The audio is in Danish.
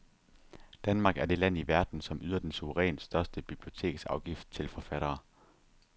Danmark er det land i verden, som yder den suverænt største biblioteksafgift til forfattere.